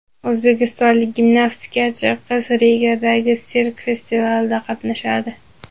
O‘zbekistonlik gimnastikachi qiz Rigadagi sirk festivalida qatnashadi.